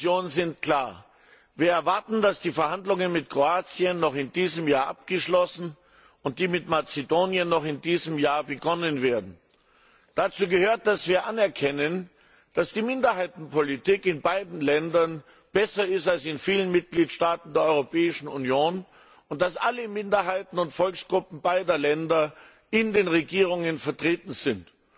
Herr Präsident! Unsere Erwartungen an Rat und Kommission sind klar Wir erwarten, dass die Verhandlungen mit Kroatien noch in diesem Jahr abgeschlossen und die mit Mazedonien noch in diesem Jahr begonnen werden. Dazu gehört, dass wir anerkennen, dass die Minderheitenpolitik in beiden Ländern besser ist als in vielen Mitgliedstaaten der Europäischen Union und dass alle Minderheiten und Volksgruppen beider Länder in den Regierungen vertreten sind.